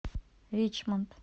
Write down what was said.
ричмонд